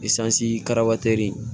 karamɔgɔ teri